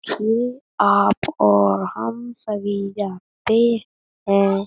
ये आप और हम सभी जानते हैं।